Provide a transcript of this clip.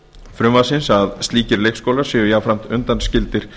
frumvarpsins að slíkir leikskólar séu jafnframt undanskildir